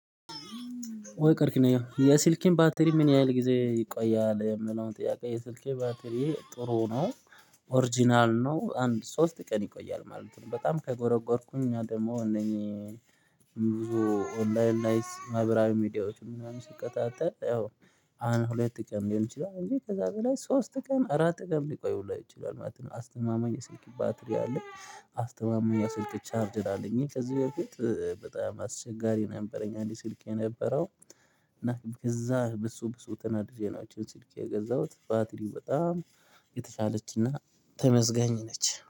ወይ ቀርክኝ ነው የሲልኬን ባትሪ ምን ያህል ጊዜ ይቆያል የምለውን ጥያቄ የሲልኬ ባትሪ ጥሩ ነው። ኦሪጅናል ነው አንድ ሶስት ቀን ይቆያል ማለት ነው። በጣም ከጎረጎርኩኝ እኛ ደግሞ እነኚህ ብዙ ኦንላይን ላይ ማህበራዊ ሚድያዎች ምናምን ስከታተል ያው አንድ ሁለት ቀን ሊሆን ይችላል እንጂ ከዚያ በላይ ሶስት ቀን አራት ቀን ሊቆይ ሁላ ይችላል ማለት ነው። አስተማማኝ የስልክ ባትሪ አለ። አስተማማኝ የስልክ ቻርጄር አለኝ ከዚህ በፊት በጣም አስቸጋሪ ነበረኝ አንድ ስልክ የነበረው። እና ከዚያ በሱ በሱ ተናድጄ ነው እችን ስልክ የገዛሁት ባትሪው በጣም ተመዝገኝ ነች